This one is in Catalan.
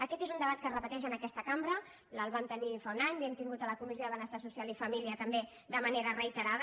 aquest és un debat que es repeteix en aquesta cambra ja el vam tenir fa un any l’hem tingut a la comissió de benestar social i família també de manera reiterada